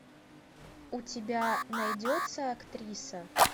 у тебя найдется актриса